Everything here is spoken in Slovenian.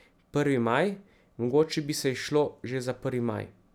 Prvi maj, mogoče bi se izšlo že za prvi maj.